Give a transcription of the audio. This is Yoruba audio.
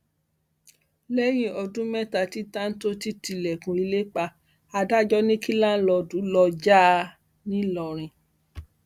lẹyìn ọdún mẹta tí táńtòńtì tilẹkùn ilé pa adájọ ní kí láńlòódù lóò já a nìlọrin